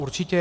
Určitě.